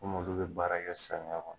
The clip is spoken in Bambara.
Komi olu bɛ baara kɛ samiya kɔnɔ.